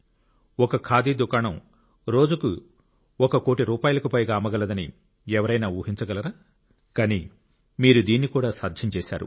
ఒక ఖాదీ దుకాణం రోజుకు 1 కోట్ల రూపాయలకు పైగా అమ్మగలదని ఎవరైనా ఊహించగలరా కానీ మీరు దీన్ని కూడా సాధ్యం చేశారు